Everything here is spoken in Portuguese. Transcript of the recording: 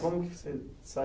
Como que você saiu?